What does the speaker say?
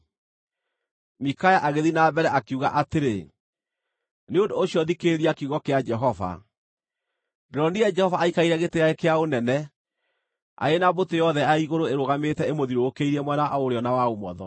Mikaya agĩthiĩ na mbere, akiuga atĩrĩ, “Nĩ ũndũ ũcio thikĩrĩria kiugo kĩa Jehova: Ndĩronire Jehova aikarĩire gĩtĩ gĩake kĩa ũnene arĩ na mbũtũ yothe ya igũrũ ĩrũgamĩte ĩmũthiũrũkĩirie mwena wa ũrĩo na wa ũmotho.